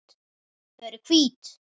Þau eru hvít.